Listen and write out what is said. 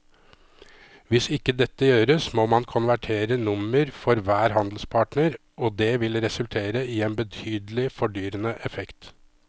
Hvis ikke dette gjøres må man konvertere nummer for hver handelspartner og det vil resultere i en betydelig fordyrende effekt.